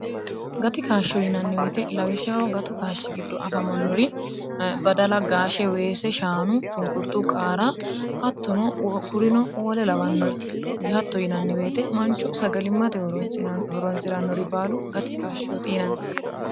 gati kaashsho yinanniweete lawishaho gatu kaashshi giddo afamannori badala gaashshe weese shaanu shunkurtuu qaara hattono wkurino oole lawannori yihatto yinannibeete manchu sagalimmate horonsi'rannori baalu gati kaashshooti yinanni